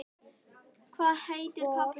Hvað heitir pabbi þinn?